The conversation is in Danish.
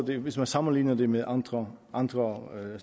hvis man sammenligner det med andre andre